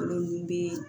Kalo min bɛ